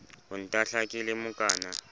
ho ntahla ke le mokana